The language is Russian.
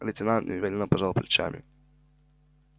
лейтенант неуверенно пожал плечами